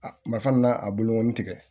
A ma fana n'a bolo tigɛ